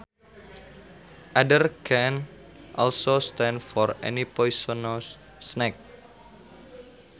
Adder can also stand for any poisonous snake